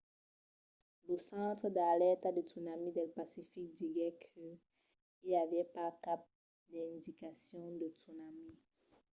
lo centre d'alèrta de tsunami del pacific diguèt que i aviá pas cap d’indicacion de tsunami